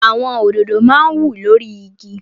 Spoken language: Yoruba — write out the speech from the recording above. Àwọn òdòdó máa ń wù lórí igi.